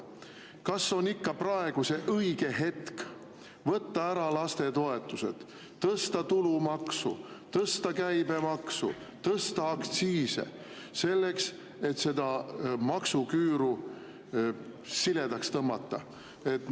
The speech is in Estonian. Kas on praegu ikka õige hetk võtta ära lapsetoetused, tõsta tulumaksu, tõsta käibemaksu, tõsta aktsiise, selleks et seda maksuküüru siledaks tõmmata?